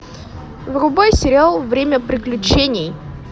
врубай сериал время приключений